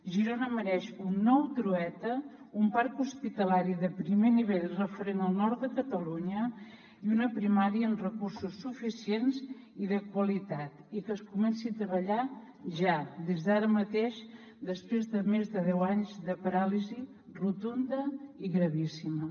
girona mereix un nou trueta un parc hospitalari de primer nivell referent al nord de catalunya i una primària amb recursos suficients i de qualitat i que es comenci a treballar ja des d’ara mateix després de més de deu anys de paràlisi rotunda i gravíssima